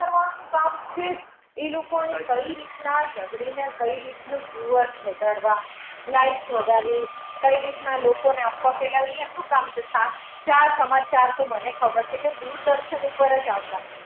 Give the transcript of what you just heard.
એમનું કામ છે. એ લોકોની કઈ રીતના ઝગડીને કઈ રીતનું viewers વધારવા, likes વધારવી, કઈ રીતના લોકોને અફવા ફેલાવવી એ એમનું કામ છે. સાચા સમાચાર તો મને ખબર છે કે દૂરદર્શન ઉપર જ આવતા.